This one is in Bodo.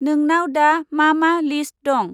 नोंनाव दा मा मा लिस्त दं?